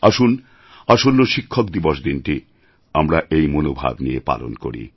আসুন আসন্ন শিক্ষক দিবস দিনটি আমরা এই মনোভাব নিয়ে পালন করি